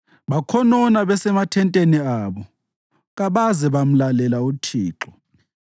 Bakhonona besemathenteni abo kabaze bamlalela uThixo.